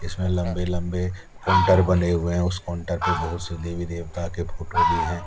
इसमे लंबे लंबे कोन्टर बने हुए है। उस कोन्टर पे बहुत से देवी देवता के फोटो भी है।